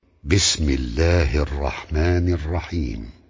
بِسْمِ اللَّهِ الرَّحْمَٰنِ الرَّحِيمِ